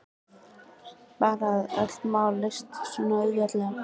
Bara að öll mál leystust svona auðveldlega.